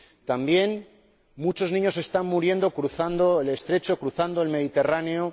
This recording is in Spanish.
También muchos niños están muriendo cruzando el Estrecho, cruzando el Mediterráneo.